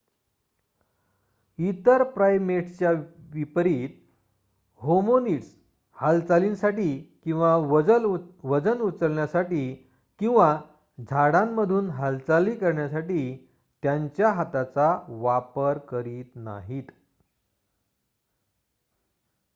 इतर प्राइमेट्सच्या विपरीत होमिनिड्स हालचालींसाठी किंवा वजन उचलण्यासाठी किंवा झाडांमधून हालचाली करण्यासाठी त्यांच्या हाताचा वापर करत नाहीत